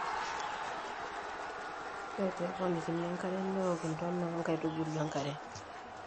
ore pee eponikini enkare neok intona oo nkaitubu enkare